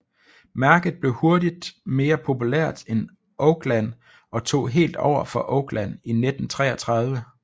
Mærket blev hurtigt mere populært end Oakland og tog helt over for Oakland i 1933